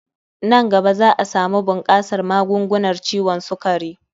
Nan gaba za'a samu bunkasar magungunar ciwon sukari